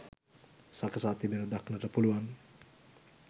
සකසා තිබෙනු දක්නට පුළුවන්.